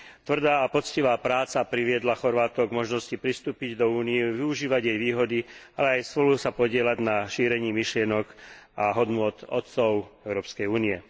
Tvrdá a poctivá práca priviedla Chorvátov k možnosti pristúpiť do Únie, využívať jej výhody, ale aj spolu sa podieľať na šírení myšlienok a hodnôt otcov Európskej únie.